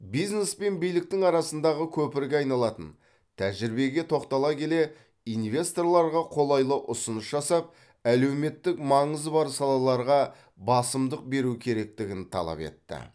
бизнес пен биліктің арасындағы көпірге айналатын тәжірибеге тоқтала келе инвесторларға қолайлы ұсыныс жасап әлеуметтік маңызы бар салаларға басымдық беру керектігін талап етті